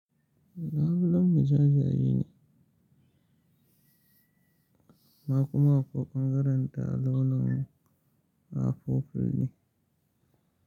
Laulon mujajayi ne, amma kuma akwai karanta launin afoful ne.